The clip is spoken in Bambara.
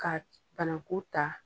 Ka banaku ta